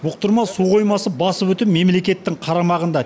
бұқтырма су қоймасы басы бүтін мемлекеттің қарамағында